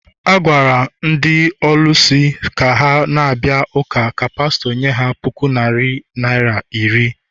A gwara ndị ọlụsị ka ha na-abịa ụka ka pastọ nye ha puku naira iri ọ bụla